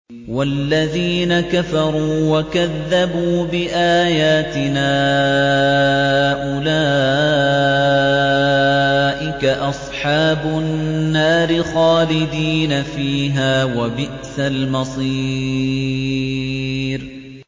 وَالَّذِينَ كَفَرُوا وَكَذَّبُوا بِآيَاتِنَا أُولَٰئِكَ أَصْحَابُ النَّارِ خَالِدِينَ فِيهَا ۖ وَبِئْسَ الْمَصِيرُ